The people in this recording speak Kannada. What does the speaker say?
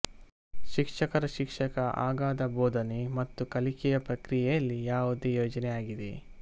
ಶಿಕ್ಷಕರ ಶಿಕ್ಷಕ ಅಗಾಧ ಬೋಧನೆ ಮತ್ತು ಕಲಿಕೆಯ ಪ್ರಕ್ರಿಯೆಯಲ್ಲಿ ಯಾವುದೇ ಯೋಜನೆ ಆಗಿದೆ